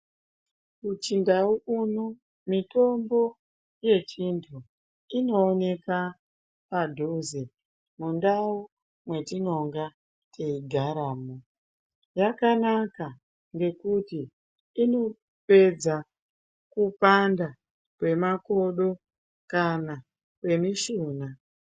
Kuchindau kuno mitombo yechintu inooneka padhuze, mundau mwetinonga teigaramo. Zvakanaka ngekuti inopedza kupanda kwemakodo kana kwemishuna.